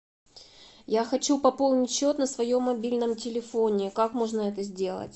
я хочу пополнить счет на своем мобильном телефоне как можно это сделать